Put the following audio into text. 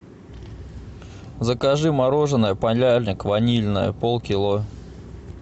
закажи мороженое полярник ванильное полкило